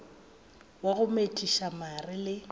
wa go metšiša mare le